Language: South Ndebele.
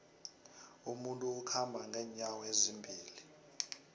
umuntu ukhamba nqenyawo ezimbili